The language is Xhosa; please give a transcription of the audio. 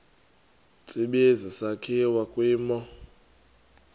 tsibizi sakhiwa kwimo